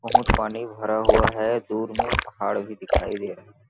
बहुत पानी भरा हुआ है दूर में पहाड़ भी दिखाई दे रहा है।